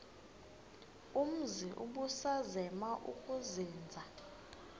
umzi ubusazema ukuzinza